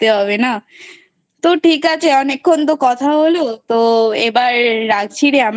বাঁচতে হবে না ।তো ঠিক আছে অনেক্ষন তো কথা হলো তো এবার রাখছি রে